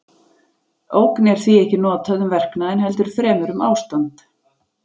ógn er því ekki notað um verknaðinn heldur fremur um ástand